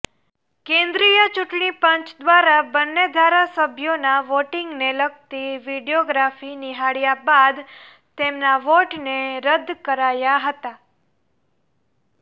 કેન્દ્રીય ચૂંટણીપંચ દ્વારા બંને ધારાસભ્યોના વોટિંગને લગતી વીડિયોગ્રાફી નિહાળ્યા બાદ તેમના વોટને રદ કરાયા હતા